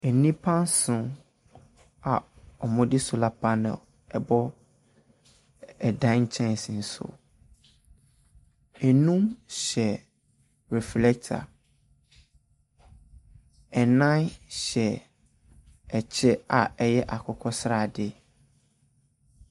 Nnipa nson a wɔde solar pannel bɔ dan lkyɛnsee so. Num hyɛ reflɛkta. Nan hyɛ ɔkyɛ a ɛyɛ akokɔ srade.